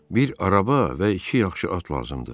Bir araba və iki yaxşı at lazımdır.